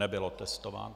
Nebyl otestován.